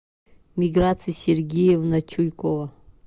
миграция сергеевна чуйкова